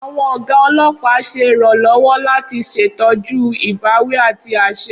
Awọn oga olopa ṣe iranlọwọ lati ṣetọju ibawi ati aṣẹ.